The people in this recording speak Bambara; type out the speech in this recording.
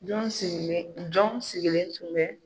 Jɔn sigilen tun bɛ?